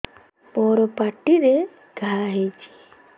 ମୋର ପାଟିରେ ଘା ହେଇଚି